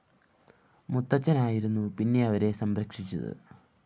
മുത്തച്ഛനായിരുന്നു പിന്നെ അവരെ സംരക്ഷിച്ചത്